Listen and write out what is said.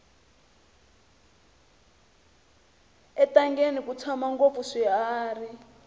entangeni ku tshama ngopfu swiharhi